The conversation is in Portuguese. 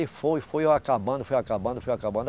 E foi, foi eu acabando, foi acabando, foi acabando.